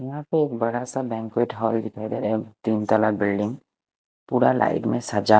यहां पर एक बड़ा सा बैंक्वेट हाल दिखाई दे रहा है। तीन बिल्डिंग पूरा लाइट से सजा--